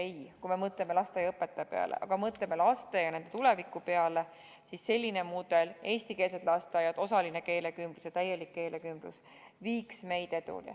Ei, kui me mõtleme lasteaiaõpetajate peale ja mõtleme ka laste ja nende tuleviku peale, siis selline mudel, et on eestikeelsed lasteaiad, osaline keelekümblus ja täielik keelekümblus, viiks meid edule.